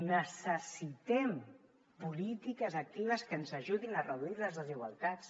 necessitem polítiques actives que ens ajudin a reduir les desigualtats